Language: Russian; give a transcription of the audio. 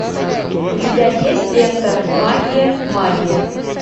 у тебя есть лента магия магия